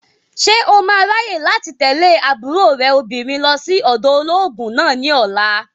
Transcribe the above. Ṣé o máa ráyè láti tẹ̀lé àbúrò rẹ̀ obìnrin lọ sí ọ̀dọ̀ olóògùn náà ní ọ̀la?